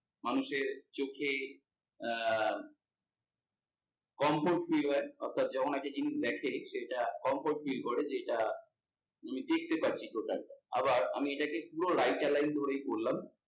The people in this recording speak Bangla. মানুষের চোখে আহ comfort feel হয় অর্থাৎ যখন একটা জিনিস দেখে সেটা comfort feel করে যেটা আমি দেখতে পাচ্ছি total টা। আবার এটাকে আমি পুরো right align ধরেই করলাম